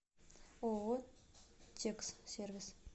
ооо текс сервис